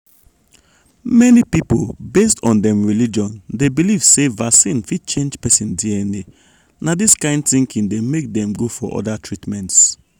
many people based on dem religion dey believe say vaccine fit change person dna. na dis kain thinking dey make dem go for other treatments.